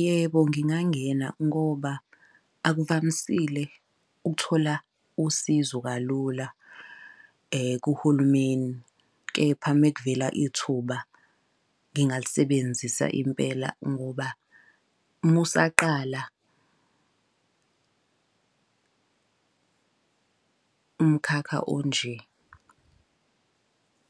Yebo ngingangena ngoba akuvamisile ukuthola usizo kalula kuhulumeni, kepha uma kuvela ithuba ngingalisebenzisa impela. Ngoba uma usaqala umkhakha onje